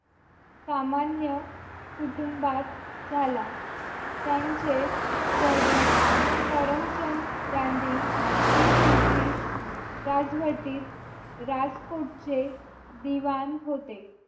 सामान्य कुटुंबात झाला त्यांचे वडील करमचंद गांधी हे ब्रिटिश राजवटीत राजकोटचे दिवाण होते